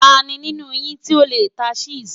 Tani ninu yin ti o le ta Chess?